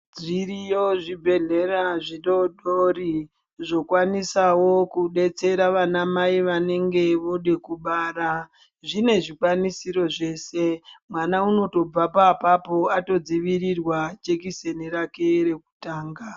Zviriyo zvibhedhlera zvitootori zvokwanisawo kudetsera vanamai vanonga voode kubara. Zvine zvikwanisiro zveshe, mwana unotobvapo apapo atodzivirirwa jekiseni rake rekutanga.